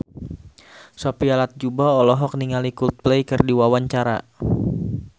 Sophia Latjuba olohok ningali Coldplay keur diwawancara